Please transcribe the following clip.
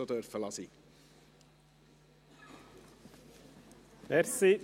Sie hätten es auch sein lassen können.